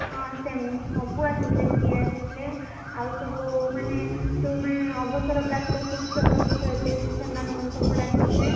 ହଁ ସବୁ ଆସିଥିଲେ ସେ ଆସିଥିଲେ ।